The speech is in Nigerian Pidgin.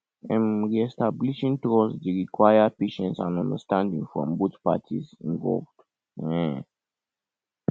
um reestablishing trust dey require patience and understanding from both parties involved um